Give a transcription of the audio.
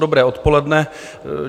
Dobré odpoledne.